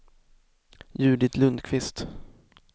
Judit Lundkvist